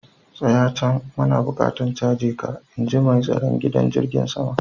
Tsaya can! muna buƙatan caje ka, In ji mai tsaron gidan jirigin saman.